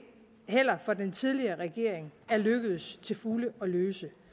for den tidligere regering er lykkedes til fulde at løse